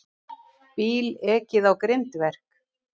Bíl ekið á grindverk